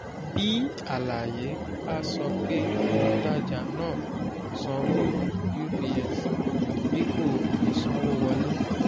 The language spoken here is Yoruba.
bí àlàyé bá sọ pé òǹtajà náà sanwó ups dípò ìsanwówọlé.